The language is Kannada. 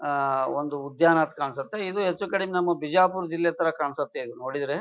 ಆ ಒಂದು ಉದ್ಯಾನದ ಕಾಣಿಸುತ್ತ ಇದು ಹೆಚ್ಚು ಕಡಿಮೆ ನಮ್ಮ ಬಿಜಾಪುರ ಜಿಲ್ಲೆ ತರ ಕಾಣ್ಸುತ್ತೆ ನೋಡಿದ್ರೆ.